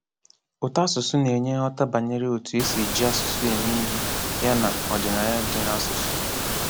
Ụtọasụsụ na-enye nghọta banyere otu e si eji asụsụ eme ihe yana ọdịnaya dị n'asụsụ.